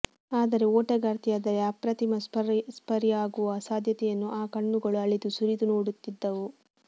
ಆದರೆ ಓಟಗಾರ್ತಿಯಾದರೆ ಅಪ್ರತಿಮ ಸ್ಪರ್ಯಾಗುವ ಸಾಧ್ಯತೆಯನ್ನು ಆ ಕಣ್ಣುಗಳು ಅಳೆದು ಸುರಿದು ನೋಡುತ್ತಿದ್ದವು